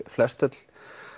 flestöll